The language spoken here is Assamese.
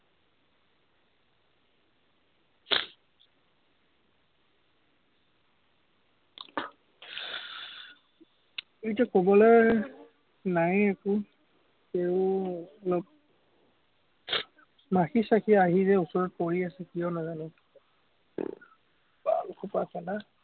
এতিয়া, কবলে, নায়ে একো, তেও অলপ মাখি-চাখি আহি যে ওচৰত পৰি আছে, কিয় নাজানো। সোপা